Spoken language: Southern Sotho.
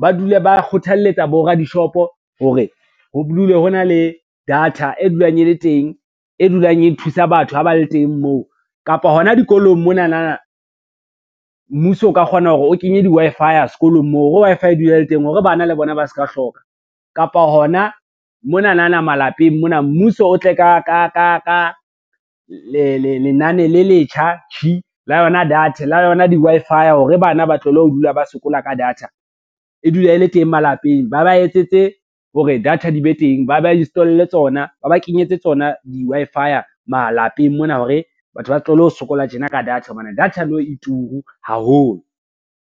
ba dule ba kgothalletsa boradishopo hore ho dule ho na le data e dulang e le teng, e dulang e thusa batho ha ba le teng moo. Kapa hona dikolong monanana, mmuso o ka kgona hore o kenye di-Wi-Fi sekolong moo, hore Wi-Fi e dule e le teng hore bana le bona ba ska hloka, kapa hona monanana malapeng mona mmuso o tle ka lenane le letjha tjhi la yona di-Wi-Fi hore bana ba tlohele ho dula ba sokola ka data, e dule e le teng malapeng. Ba ba etsetse hore re data di be teng, ba ba kenyetse tsona di-Wi-Fi malapeng mona hore, batho ba tlohelle ho sokola tjena ka data hobane data nou e turu haholo.